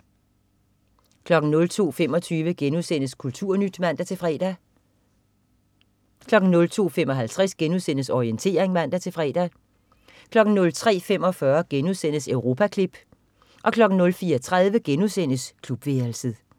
02.25 KulturNyt* (man-fre) 02.55 Orientering* (man-fre) 03.45 Europaklip* 04.30 Klubværelset*